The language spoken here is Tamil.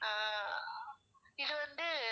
அஹ் இது வந்து